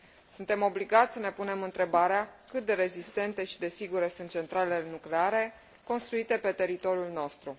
Suntem obligați să ne punem întrebarea cât de rezistente și de sigure sunt centralele nucleare construite pe teritoriul nostru.